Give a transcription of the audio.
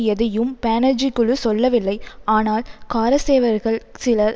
எதையும் பானர்ஜி குழு சொல்லவில்லை ஆனால் காரசேவர்கள் சிலர்